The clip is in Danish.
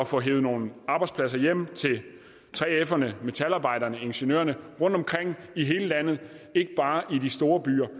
få hevet nogle arbejdspladser hjem til 3ferne metalarbejderne ingeniørerne rundtomkring i hele landet og ikke bare i de store byer